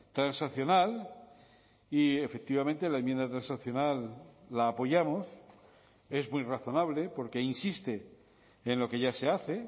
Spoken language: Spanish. transaccional y efectivamente la enmienda transaccional la apoyamos es muy razonable porque insiste en lo que ya se hace